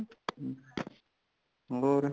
ਹੋਰ